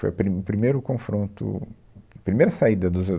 Foi o pri, primeiro confronto, primeira saída dos